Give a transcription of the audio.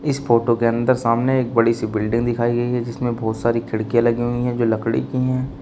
इस फोटो के अंदर सामने एक बड़ी सी बिल्डिंग दिखाई गई है जिसमें बहुत सारी खिड़कियां लगी हुई है जो लकड़ी की है।